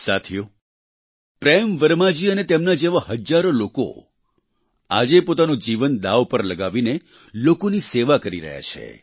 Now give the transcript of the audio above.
સાથીઓ પ્રેમ વર્માજી અને તેમના જેવા હજારો લોકો આજે પોતાનું જીવન દાવ પર લગાવીને લોકોની સેવા કરી રહ્યા છે